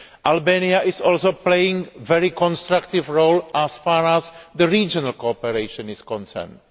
Albania is also playing a very constructive role as far as regional cooperation is concerned.